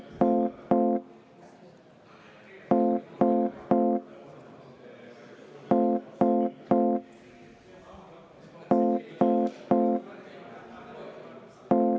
V a h e a e g